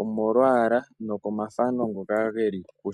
omomalwaala nomathano ngoka ngeli ko.